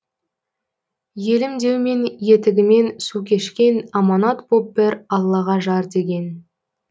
елім деумен етігімен су кешкен аманат боп бір аллаға жар деген